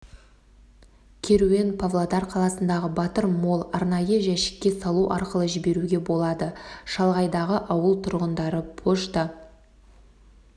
керуен павлодар қаласындағы батыр молл арнайы жәшікке салу арқылы жіберуге болады шалғайдағы ауыл тұрғындары пошта